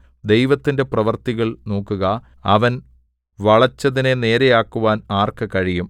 ദൈവത്തിന്റെ പ്രവൃത്തികൾ നോക്കുക അവൻ വളച്ചതിനെ നേരെയാക്കുവാൻ ആർക്ക് കഴിയും